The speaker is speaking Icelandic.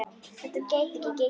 Þetta gæti ekki gengið.